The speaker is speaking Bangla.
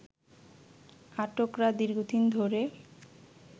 আটকরা দীর্ঘদিন ধরে